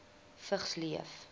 vigs leef